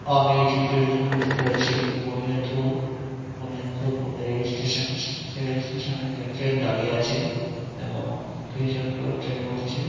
আমি এই চিত্রটি দেখে বুঝতে পারছি বুনিয়াদপুর | বুনিয়াদপুর রেলস্টেশন সেই রেলস্টেশনে ট্রেন দাঁড়িয়ে আছে | এবং কিছুজন লোক ট্রেনে উঠছে।